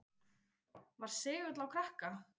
Var segull á krakka.